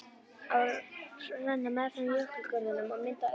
Ár renna meðfram jökulgörðunum og mynda aura.